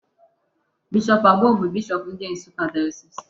Bishop Agbo bụ bishop ndị Nsụka Diocese.